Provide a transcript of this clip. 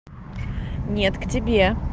нет к тебе